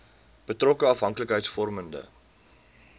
betrokke afhanklikheids vormende